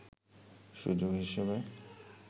সুযোগ হিসেবে